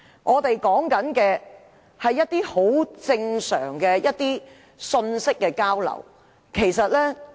我們所要求的是一些很正常的信息交流。